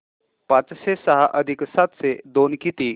पाचशे सहा अधिक सातशे दोन किती